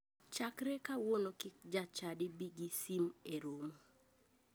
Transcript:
Chakre kawuono kik jachadi bi gi sim e romo.